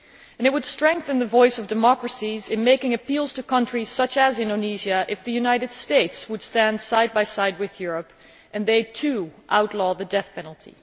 It would strengthen the voice of democracies in making appeals to countries such as Indonesia if the United States would stand side by side with Europe and would also outlaw the death penalty.